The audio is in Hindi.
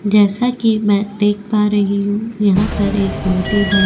जैसा कि मैं देख पा रही हूं यहां पर एक बहुत ही बड़ा --